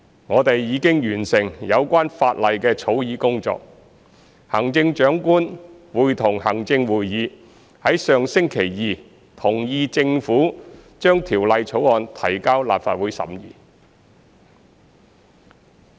我們已完成有關法例的草擬工作，行政長官會同行政會議於上星期二同意政府將《條例草案》提交立法會審議。